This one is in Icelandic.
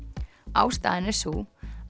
ástæðan er sú